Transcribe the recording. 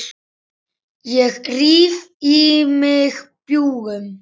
Ég ríf í mig bjúgun.